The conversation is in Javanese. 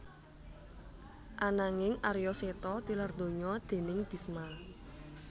Ananging Arya Seta tilar donya déning Bisma